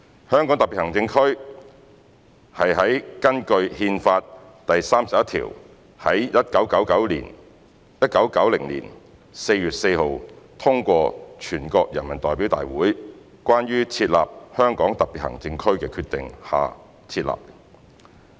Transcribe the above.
香港特別行政區便是在根據《憲法》第三十一條於1990年4月4日通過的"全國人民代表大會關於設立香港特別行政區的決定"下設立。